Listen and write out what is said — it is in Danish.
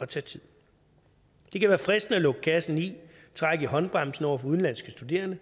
at tage tid det kan være fristende at lukke kassen i trække i håndbremsen over for udenlandske studerende